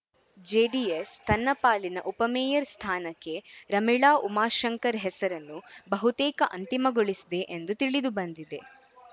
JDS ತನ್ನ ಪಾಲಿನ ಉಪಮೇಯರ್‌ ಸ್ಥಾನಕ್ಕೆ ರಮೀಳಾ ಉಮಾಶಂಕರ್‌ ಹೆಸರನ್ನು ಬಹುತೇಕ ಅಂತಿಮಗೊಳಿಸಿದೆ ಎಂದು ತಿಳಿದು ಬಂದಿದೆ